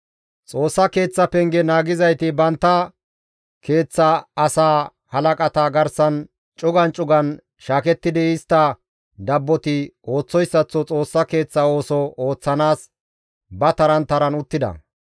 Xoossa Keeththa penge naagizayti bantta keeththa asaa halaqata garsan cugan cugan shaakettidi istta dabboti ooththoyssaththo Xoossa Keeththa ooso ooththanaas ba taran taran uttida.